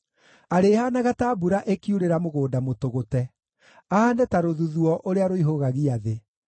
Arĩhaanaga ta mbura ĩkiurĩra mũgũnda mũtũgũte, ahaane ta rũthuthuũ ũrĩa rũihũgagia thĩ.